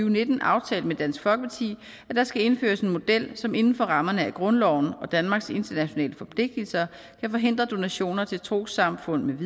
og nitten aftalt med dansk folkeparti at der skal indføres en model som inden for rammerne af grundloven og danmarks internationale forpligtelser kan forhindre donationer til trossamfund